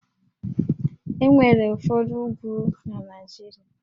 E nwere ụfọdụ úgwú na Naịjirịa